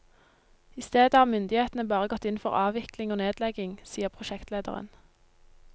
I stedet har myndighetene bare gått inn for avvikling og nedlegging, sier prosjektlederen.